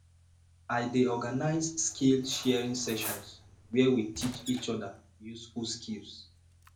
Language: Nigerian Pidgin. i dey organize skillsharing sessions where we teach each other useful skills